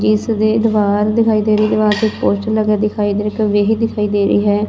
ਜਿਸ ਦੀ ਦੀਵਾਰ ਦਿਖਾਈ ਦੇ ਰਹੀ ਦੀਵਾਰ ਤੇ ਇੱਕ ਪੋਸਟਰ ਲੱਗਿਆ ਦਿਖਾਈ ਦੇ ਰਿਹਾ ਦਿਖਾਈ ਦੇ ਰਹੀ ਹੈ।